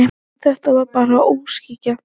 En þetta var bara óskhyggja.